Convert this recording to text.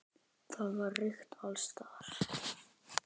Það var reykt alls staðar.